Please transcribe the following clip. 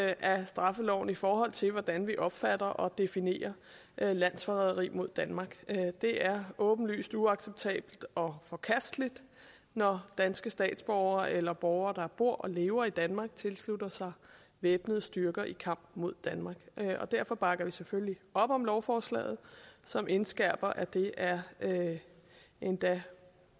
af straffeloven i forhold til hvordan vi opfatter og definerer landsforræderi mod danmark det er åbenlyst uacceptabelt og forkasteligt når danske statsborgere eller borgere der bor og lever i danmark tilslutter sig væbnede styrker i kamp mod danmark derfor bakker vi selvfølgelig op om lovforslaget som indskærper at det er endda